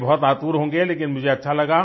लिए बहुत आतुर होंगे लेकिन मुझे अच्छा लगा